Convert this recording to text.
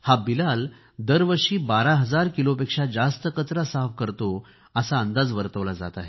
बिलाल दरवर्षी 12 हजार किलोपेक्षा जास्त कचरा साफ करतो असा अंदाज वर्तवला जात आहे